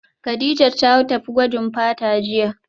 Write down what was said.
Kadijat ta tafi gwajin fata jiya